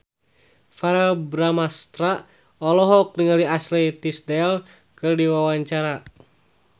Verrell Bramastra olohok ningali Ashley Tisdale keur diwawancara